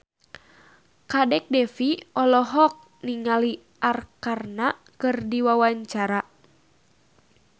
Kadek Devi olohok ningali Arkarna keur diwawancara